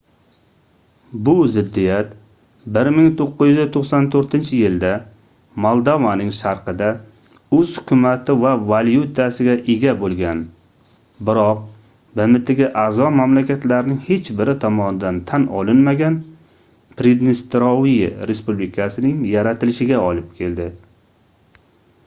bu ziddiyat 1994-yilda moldovaning sharqida oʻz hukumati va valyutasiga ega boʻlgan biroq bmtga aʼzo mamlakatlarning hech biri tomonidan tan olinmagan pridnestrovye respublikasining yaratilishiga olib keldi